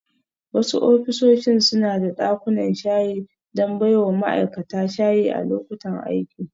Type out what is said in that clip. Wasu ofisoshin suna da dakunan shayi don baiwa ma'aikata shayi a lokutan aiki.